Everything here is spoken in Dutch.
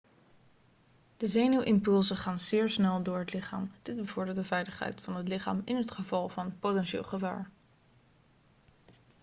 de zenuwimpulsen gaan zeer snel door het lichaam dit bevordert de veiligheid van het lichaam in het geval van potentieel gevaar